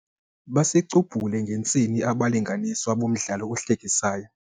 Basicubhule ngentsini abalinganiswa bomdlalo ohlekisayo.